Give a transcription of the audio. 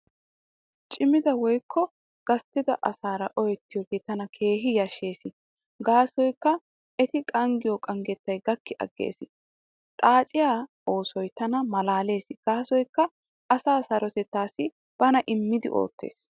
Cimida woykko gasttida asaara ooyettiyoogee tana keehi yashshees gaasoykka eti qanggiyo qanggettay gakki aggees. Xaaciyaa oosoy tana malaalees gaasoykka asaa sarotettaassi bana immidi oottees.